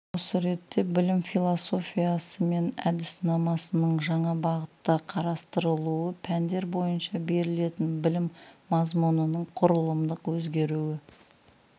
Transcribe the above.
осы ретте білім философиясы мен әдіснамасының жаңа бағытта қарастырылуы пәндер бойынша берілетін білім мазмұнының құрылымдық өзгеруі